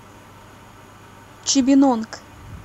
чибинонг